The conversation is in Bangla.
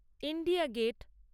India gate